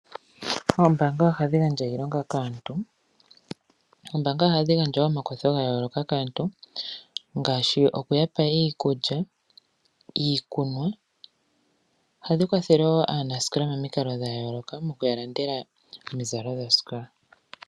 Oombaanga ohadhi gandja iilonga kaantu, oombaanga ohadhi gandja wo omakwatho ga yooloka kaantu, ngaashi okuya pa iikulya niikunwa. Ohadhi kwathele wo aanasikola momikalo dha yooloka, okuya landela omizalo dhosikola.